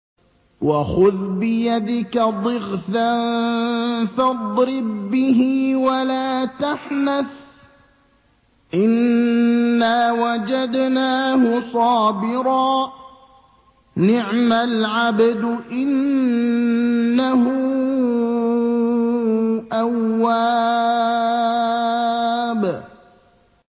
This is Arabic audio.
وَخُذْ بِيَدِكَ ضِغْثًا فَاضْرِب بِّهِ وَلَا تَحْنَثْ ۗ إِنَّا وَجَدْنَاهُ صَابِرًا ۚ نِّعْمَ الْعَبْدُ ۖ إِنَّهُ أَوَّابٌ